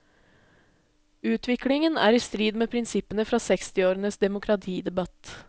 Utviklingen er i strid med prinsippene fra sekstiårenes demokratidebatt.